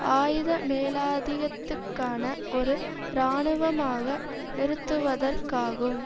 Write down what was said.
ஆயுத மேலாதிகத்துக்கான ஒரு இராணுவமாக நிறுத்துவதற்காகும்